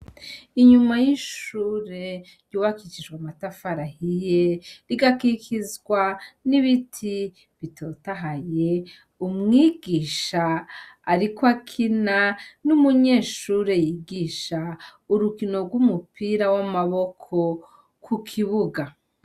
Inyuma y'ishure ryubakishijwe amatafari ahiye rigakikizwa n'ibiti bitotahaye umwigisha ariko akina n'umunyeshure yigisha urukino rw'umupira w'amaboko ku kibuga.